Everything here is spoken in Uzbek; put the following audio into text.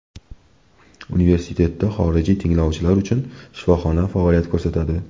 Universitetda xorijiy tinglovchilar uchun shifoxona faoliyat ko‘rsatadi.